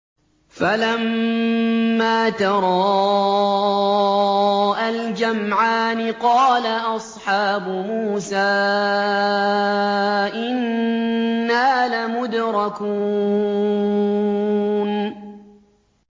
فَلَمَّا تَرَاءَى الْجَمْعَانِ قَالَ أَصْحَابُ مُوسَىٰ إِنَّا لَمُدْرَكُونَ